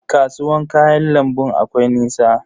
Kasuwan kayan lambun akwai nisa?